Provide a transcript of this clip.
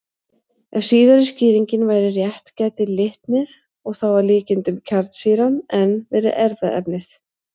Ef síðari skýringin væri rétt gæti litnið, og þá að líkindum kjarnsýran, enn verið erfðaefnið.